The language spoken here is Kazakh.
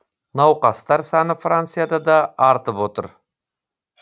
науқастар саны францияда да артып отыр